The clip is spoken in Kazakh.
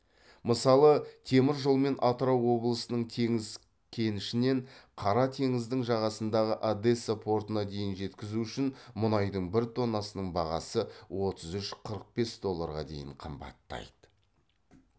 мысалы темір жолмен атырау облысының теңіз кенішінен қара теңіздің жағасындағы одесса портына дейін жеткізу үшін мұнайдың бір тоннасының бағасы отыз үш қырық бес долларға дейін қымбаттайды